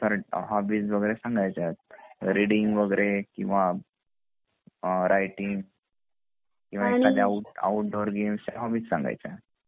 hobbies वैगरे सांगायच्या reading वगैरे किंवा रायटींग किंवा एखादा आउटडोर गेम्स एखादा होबबीस सांगायच्या